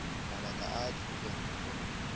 mabaka a a dirileng gore